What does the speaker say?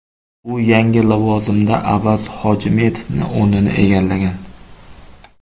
U yangi lavozimda Avaz Hojimetovning o‘rnini egallagan.